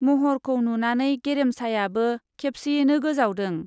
मह'रखौ नुनानै गेरेमसायाबो खेबसेयैनो गोजावदों।